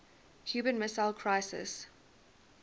cuban missile crisis